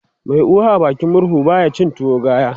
Mai uwa a bakin murhu baya cin tuwo gaya